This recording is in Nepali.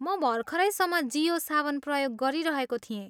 म भर्खरैसम्म जियो सावन प्रयोग गरिरहेको थिएँ।